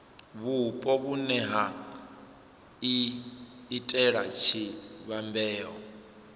vhupo vhune ha iitela tshivhumbeo